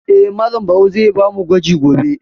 Eh, Malam Barau zai ba mu gwaji gobe.